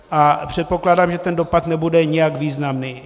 A předpokládám, že ten dopad nebude nijak významný.